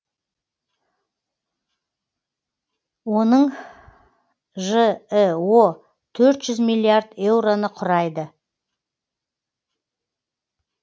оның жіө төрт жүз миллиард еуроны құрайды